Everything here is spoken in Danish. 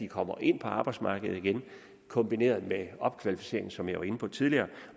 kommer ind på arbejdsmarkedet igen kombineret med opkvalificering som jeg var inde på tidligere